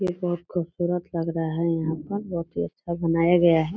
ये बहुत खूबसूरत लग रहा है यहाँ पर बहुत ही अच्छा बनाया गया है।